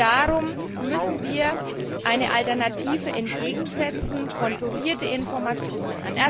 Darum müssen wir eine Alternative entgegensetzen kontrollierte Informationen.